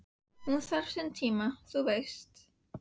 Hún þarf sinn tíma, þú veist